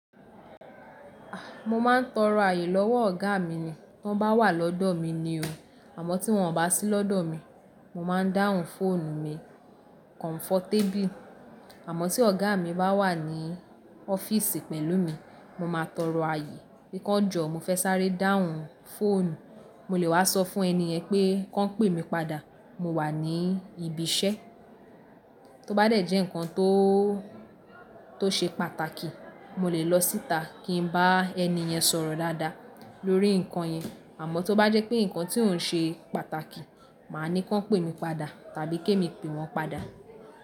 A! Mọ máa n tọrọ ààyè lọ́wọ́ ọ̀gá mi ní tí wọ́n bá wà lọ́dọ̀ mí ní o. Àmọ́ tí wọ́n ò bá sí lọ́dọ̀ mi, mo ma n dáhùn fóònù mi kọ̀nfọ́tébìl. Àmọ́ tí ọ̀gá mi bá wà ní ọ́fíìsì pẹ̀lú mi, mọ máa tọrọ ààyè, pé kọ̀ jọ mọ fẹ́ sáré dáhùn fóònù, mọ lè wá sọ fún ẹni yẹn pé kó pè mi padà, mọ wà ní ibi iṣẹ́. Tó bá dẹ̀ jẹ́ nǹkan tó, tó ṣe pàtàkì, mọ lè lọ síta kí n bá ẹni yẹn sọ̀rọ̀ dáadáa lórí nǹkan yẹn. Àmọ́ tó bá jẹ́ pé nǹkan tí ò n ṣe pàtàkì, màá ní kó pè mi padà tàbí kí èmi pè wọ́n padà.